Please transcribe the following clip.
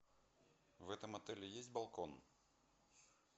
в этом отеле есть балкон